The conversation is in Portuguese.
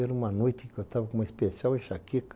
Era uma noite que eu estava com uma especial enxaqueca.